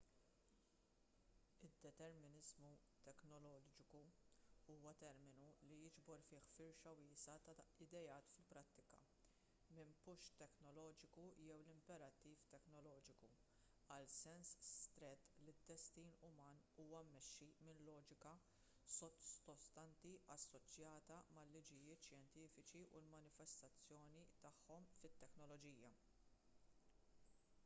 id-determiniżmu teknoloġiku huwa terminu li jiġbor fih firxa wiesgħa ta' ideat fil-prattika minn push teknoloġiku jew l-imperattiv teknoloġiku għal sens strett li d-destin uman huwa mmexxi minn loġika sottostanti assoċjata mal-liġijiet xjentifiċi u l-manifestazzjoni tagħhom fit-teknoloġija